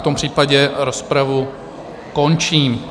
V tom případě rozpravu končím.